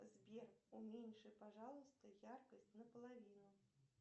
сбер уменьши пожалуйста яркость на половину